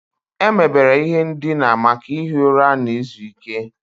Emebere ihe ndina maka ihi ụra na izu ike.